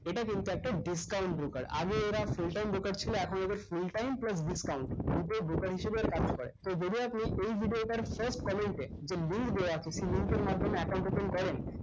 এটা কিন্তু একটা discount broker আগে এরা full time broker ছিল এখন এদের full time plus discount দুইটাই broker হিসেবে এরা কাজ করে তো যদি আপনি এই video টার first comment এ যে link দেয়া আছে সে link এর মাধ্যমে account open করেন